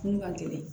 Kun ka gɛlɛn